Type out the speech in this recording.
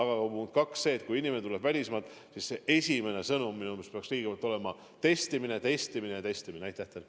Ja punkt kaks on see, et kui inimene tuleb välismaalt, siis esimene sõnum minu meelest peaks olema: testimine, testimine ja testimine.